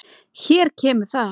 Hér kemur það.